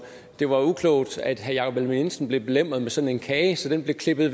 det var uklogt at herre jakob ellemann jensen blev belemret med sådan en kage så den blev klippet